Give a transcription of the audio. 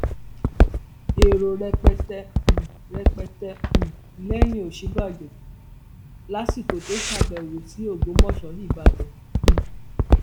èrò rẹpẹtẹ um rẹpẹtẹ um lẹyìn òsínbàjò lásìkò tó ṣàbẹwò sí ògbómọṣọ ìbàdàn um